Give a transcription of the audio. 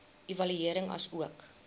evaluering asook